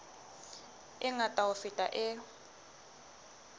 e ngata ho feta e